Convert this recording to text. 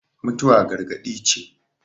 mutuwa gargadi ce